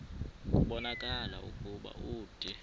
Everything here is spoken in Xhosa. kubonakala ukuba ude